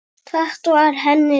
Þetta var henni líkt.